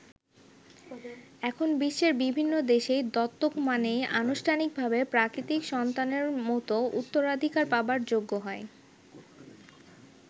এখন বিশ্বের বিভিন্ন দেশেই দত্তক মানেই আনুষ্ঠানিকভাবে প্রাকৃতিক সন্তানের মতো উত্তরাধিকার পাবার যোগ্য হয়।